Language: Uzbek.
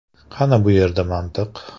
Qani bu yerda mantiq?